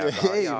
Kaheksa minutit.